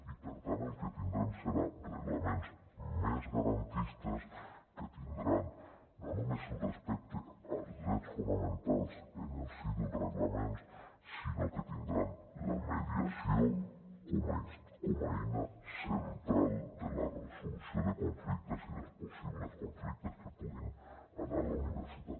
i per tant el que tindrem seran reglaments més garantistes que tindran no només el respecte als drets fonamentals en el si dels reglaments sinó que tindran la mediació com a eina central de la resolució de conflictes i dels possibles conflictes que hi puguin haver a la universitat